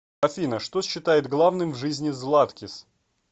афина что считает главным в жизни златкис